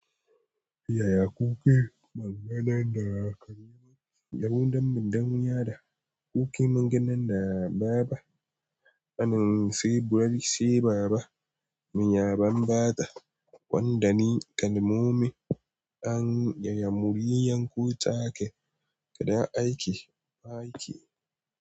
Yaya kuken maganan da aka yi yawon damben dan haya da kuke maganan da baba anan sai burai sai baba miya banbata wanda ni kalmomin an yaya muryar ku take da aiki ba aiki.